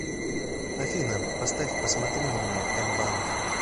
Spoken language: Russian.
афина поставь посмотри на меня эмбанд